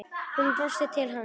Hún brosti til hans.